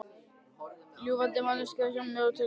Ljúflynda manneskju sem bjó sig til sjálf.